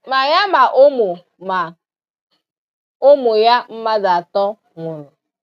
Ma ya ma ụmụ ma ụmụ ya mmadụ atọ nwụrụ